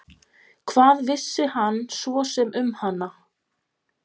Hvað vissi hann svo sem um hana?